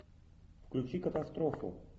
включи катастрофу